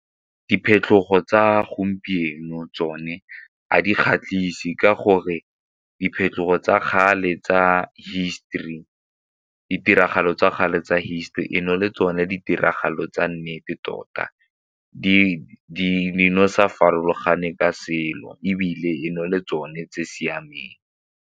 Diphetogo tsa gompieno tsone a di kgatlhise ka gore diphetogo tsa kgale tsa hisetori, ditiragalo tsa kgale tsa history le tsone ditiragalo tsa nnete tota sa farologane ka selo ebile le tsone tse siameng.